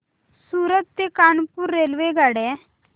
सूरत ते कानपुर रेल्वेगाड्या